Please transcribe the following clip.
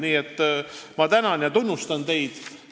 Nii et ma tänan ja tunnustan teid!